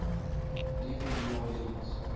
leaving new orleans